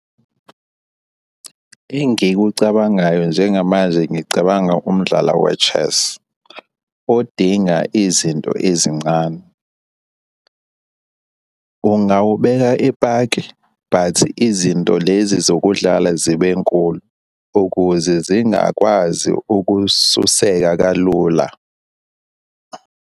Engikucabangayo njengamanje ngicabanga umdlalo we-chess, odinga izinto ezincane. Ungawubeka epaki, but izinto lezi zokudlala zibe nkulu, ukuze zingakwazi ukususeka kalula.